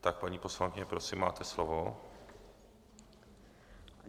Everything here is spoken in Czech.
Tak, paní poslankyně, prosím, máte slovo.